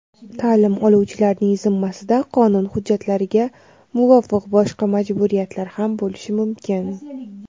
Ta’lim oluvchilarning zimmasida qonun hujjatlariga muvofiq boshqa majburiyatlar ham bo‘lishi mumkin.